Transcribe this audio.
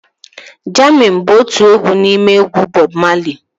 Jammin bụ otu n'ime egwu Bọb Mali